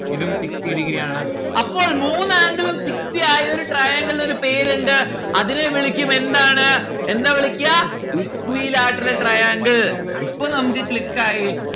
ഇതും sixty degree ആണ്. അപ്പോൾ മൂന്ന് angle ഉം sixty ആയൊരു triangle ൽന്ന് ഒരു പേരിണ്ട്‌ അതിന്റെ വിളിക്കും എന്താണ് എന്താ വിളിക്കാ equilateral triangle ഇപ്പൊ നമ്മുക്ക് click ആയി